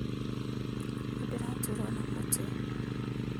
Nĩndĩraturwo nĩ mũtwe